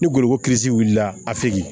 Ni gorobo wulila a segin